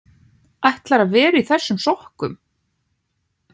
ÆTLARÐU AÐ VERA Í ÞESSUM SOKKUM?